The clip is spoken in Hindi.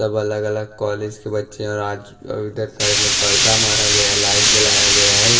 सब अलग अलग कॉलेज के बच्चे और आज का उधर साइड में पर्दा मारा गया लाइट जलाया गया है।